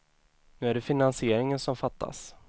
Nu är det finansieringen som fattas.